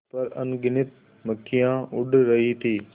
उस पर अनगिनत मक्खियाँ उड़ रही थीं